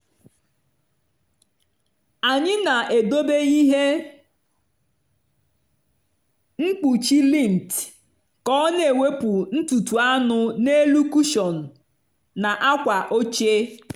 anyị na-edobe ihe mkpuchi lint ka ọ na-ewepụ ntutu anụ n’elu kụshọn na akwa oche.